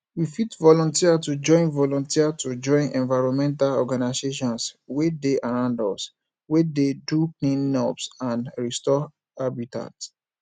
we fit volunteer to join volunteer to join environmental organisations wey dey around us wey dey do cleanups and restore habitat